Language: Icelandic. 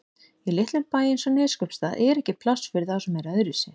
Í litlum bæ eins og Neskaupstað er ekki pláss fyrir þá sem eru öðruvísi.